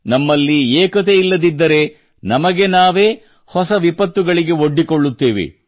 ನಮ್ಮಲ್ಲಿ ಏಕತೆಯಿಲ್ಲದಿದ್ದರೆ ನಮಗೆ ನಾವೇ ಹೊಸ ವಿಪತ್ತುಗಳಿಗೆ ಒಡ್ಡಿಕೊಳ್ಳುತ್ತೇವೆ